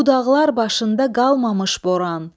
Bu dağlar başında qalmamış boran.